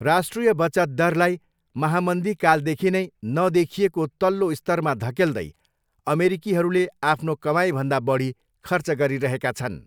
राष्ट्रिय बचत दरलाई महामन्दीकालदेखि नै नदेखिएको तल्लो स्तरमा धकेल्दै, अमेरिकीहरूले आफ्नो कमाइभन्दा बढी खर्च गरिरहेका छन्।